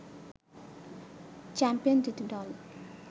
champion দুটি দল